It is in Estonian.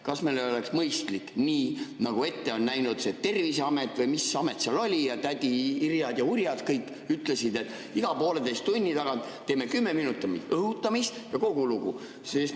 Kas meil ei oleks mõistlik, nii nagu ette on näinud Terviseamet või mis amet see oli ja kõik tädi Irjad ja Urjad, kes ütlesid, et iga pooleteise tunni tagant teeme kümme minutit õhutamist, ja kogu lugu?